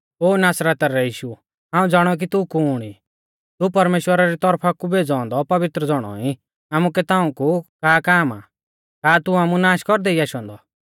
ओ नासरता रै यीशु हाऊं ज़ाणाऊ कि तू कुण ई तू परमेश्‍वरा री तौरफा कु भेज़ौ औन्दौ पवित्र ज़ौणौ ई आमुकै ताऊं कु का काम आ का तू आमु नाश कौरदै ई आशौ औन्दौ